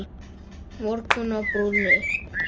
Morgunn á brúnni